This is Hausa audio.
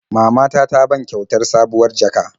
Mama ta ta ban kyautar sabuwar jaka.